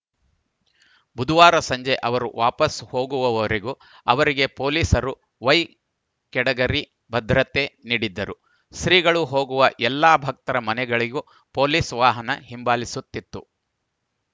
ಬುಧವಾರ ಸಂಜೆ ಅವರು ವಾಪಾಸು ಹೋಗುವುವರೆಗೂ ಅವರಿಗೆ ಪೊಲೀಸರು ವೈ ಗೆಟಗರಿ ಭದ್ರತೆ ನೀಡಿದ್ದರು ಶ್ರೀಗಳು ಹೋಗುವ ಎಲ್ಲ ಭಕ್ತರ ಮನೆಗಳಿಗೂ ಪೊಲೀಸ್‌ ವಾಹನ ಹಿಂಬಾಲಿಸುತ್ತಿತ್ತು